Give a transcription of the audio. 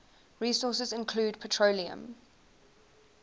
resources include petroleum